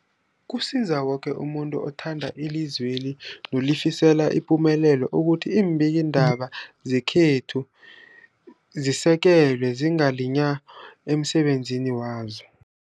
Kusiza umuntu woke othanda ilizweli nolifisela ipumelelo ukuthi iimbikiindaba zekhethu zisekelwe, zingaliywa emsebenzini wazo.